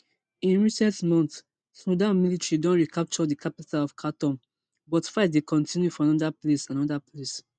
in recent months sudan military don recapture di capital of khartoum but fight dey kotinu for anoda place anoda place